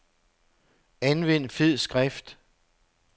Anvend fed skrift.